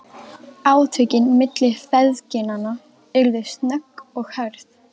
Átökin milli feðginanna urðu snögg og hörð.